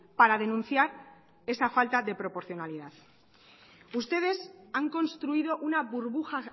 para denunciar esa falta de proporcionalidad ustedes han construido una burbuja